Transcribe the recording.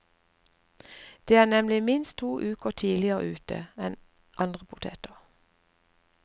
De er nemlig minst to uker tidligere ute enn andre poteter.